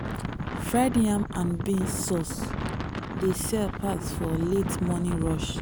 fried yam and beans sauce dey sell pass for late morning rush.